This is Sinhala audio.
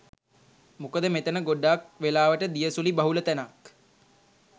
මොකද මෙතන ගොඩක් වෙලාවට දිය සුළි බහුල තැනක්.